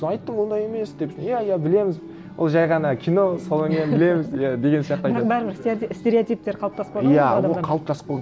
сол айттым ондай емес деп иә иә білеміз ол жай ғана кино содан кейін білеміз иә деген сияқты айтады бірақ бәрібір стереотиптер қалыптасып қалған ғой иә